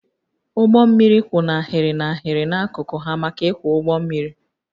Ụgbọ mmiri kwụ n'ahịrị n'ahịrị n'akụkụ ha maka ịkwọ ụgbọ mmiri